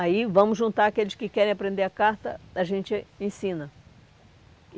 Aí vamos juntar aqueles que querem aprender a carta, a gente ensina.